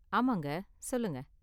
ஆமாங்க, சொல்லுங்க.